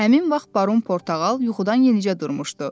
Həmin vaxt Baron Portağal yuxudan yenicə durmuşdu.